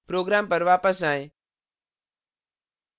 program पर वापस आएं